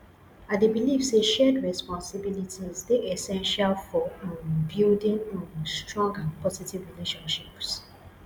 i dey believe say shared responsibilities dey essential for um building um strong and positive relationships